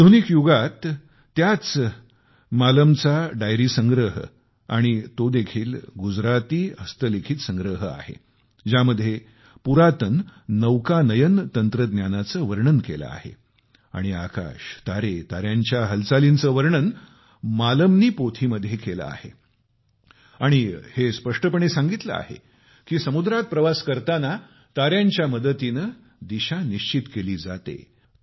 आधुनिक युगात त्याच मालमच्या पोथींचा संग्रह आणि तो देखील गुजराती हस्तलिखित संग्रह आहे ज्यामध्ये पुरातन नेव्हिगेशन तंत्रज्ञानाचे वर्णन केले आहे आणि आकाश तारे ताऱ्यांच्या हालचालींचे वर्णन मालम नि पोथी मध्ये केले आहेआणि हे स्पष्टपणे सांगितले आहे की समुद्रात प्रवास करताना ताऱ्यांच्या मदतीने दिशा निश्चित केली जाते